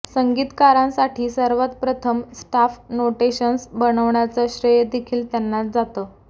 संगीतकारांसाठी सर्वात प्रथम staff notations बनवण्याचं श्रेय देखील त्यांनाच जातं